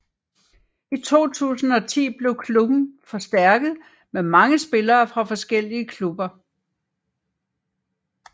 I 2010 blev klubben forstærkert med mange spiller fra flere forskellige klubber